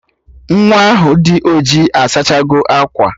Nwaa ahụ dị ojii asachago akwa